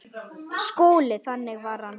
SKÚLI: Þannig var hann.